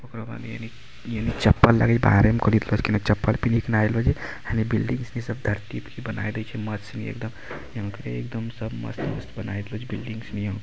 ओकर बाद यानी चप्पल लगे छै बाहरे में चप्पल पिन्ही के ने आइलो छै हेनी बिल्डिंग धरती पर देखी बना दे छै सब एकदम सब मस्त मस्त बनाए रहलो छै --